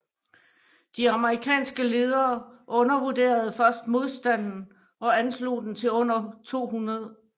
De amerikanske ledere undervurderede først modstanden og anslog den til under 200